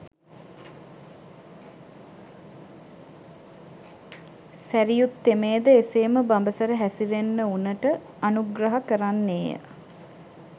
සැරියුත් තෙමේද එසේම බඹසර හැසිරෙන්න වුනට අනුග්‍රහ කරන්නේය.